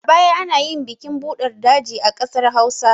A baya anayin bikin buɗar daji a ƙasar hausa